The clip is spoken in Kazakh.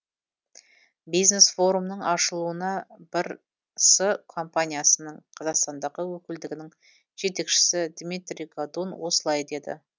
бизнес форумның ашылуында бір с компаниясының қазақстандағы өкілдігінің жетекшісі дмитрий годун осылай деді